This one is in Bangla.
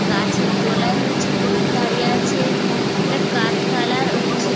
গাছের তলায় হচ্ছে লোক দাঁড়িয়ে আছে একটা কাঠ খালার হচ্ছে--